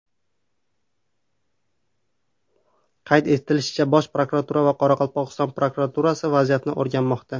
Qayd etilishicha, Bosh prokuratura va Qoraqalpog‘iston prokuraturasi vaziyatni o‘rganmoqda.